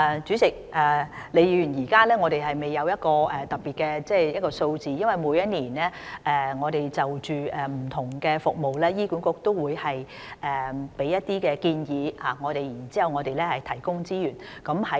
主席，李議員，我們現在未有具體的數字，因為醫管局每年均會就不同的服務，向我們提出一些建議，然後我們會提供資源。